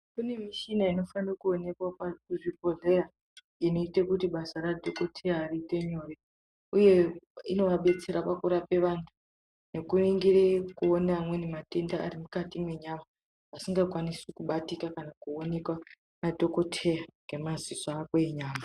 Kune mishina inofane kuonekwa kuzvibhodheya inoite kuti basa radhokoteya riite nyore, uye inovabetsera pakurape vantu kuringire kuona amweni matenda ari mukati mwenyama. Asingakwanisi kubatika kana koonekwa nadhokoteya ngemaziso ako enyama.